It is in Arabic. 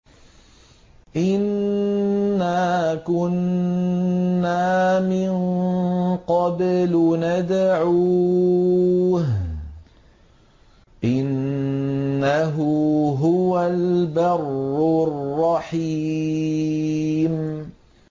إِنَّا كُنَّا مِن قَبْلُ نَدْعُوهُ ۖ إِنَّهُ هُوَ الْبَرُّ الرَّحِيمُ